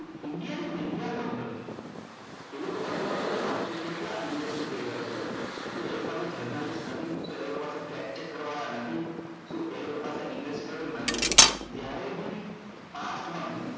India ની company છે એ લોકો પાસે તમે વિચારો કે કેટલા investigator છે શુ એ લોકો પાસે journalist નથી શુ એ લોકો પાસે check કરવા વાળા નથી શુ એ લોકો પાસે investigator નથી જયારે બી past મા બી